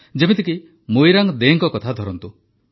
ଯେମିତିକି ମୋଇରାଙ୍ଗ ଦେଙ୍କ କଥା ଧରନ୍ତୁ